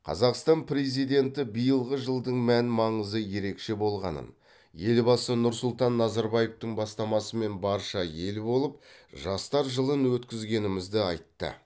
қазақстан президенті биылғы жылдың мән маңызы ерекше болғанын елбасы нұрсұлтан назарбаевтың бастамасымен барша ел болып жастар жылын өткізгенімізді айтты